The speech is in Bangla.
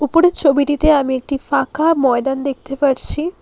উপরের ছবিটিতে আমি একটি ফাঁকা ময়দান দেখতে পারছি।